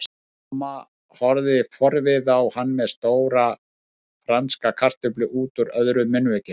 Mamma horfði forviða á hann með stóra franska kartöflu útúr öðru munnvikinu.